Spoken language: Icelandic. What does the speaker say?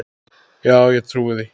Já, ég trúi því.